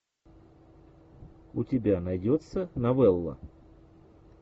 у тебя найдется новелла